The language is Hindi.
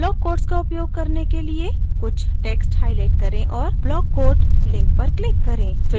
block quotes का उपयोग करने के लिए कुछ text highlight करें और block quote link पर click करें